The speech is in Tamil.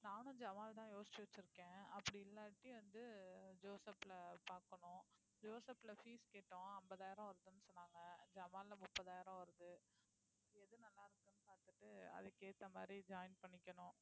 நானும் ஜமால்தான் யோசிச்சு வச்சிருக்கேன் அப்படி இல்லாட்டி வந்து ஜோசப்ல பாக்கணும் ஜோசேப்ல fees கேட்டோம் ஐம்பதாயிரம் வருதுன்னு சொன்னாங்க ஜமால்ல முப்பதாயிரம் வருது எது நல்லா இருக்குன்னு பார்த்துட்டு அதுக்கு ஏத்த மாதிரி join பண்ணிக்கணும்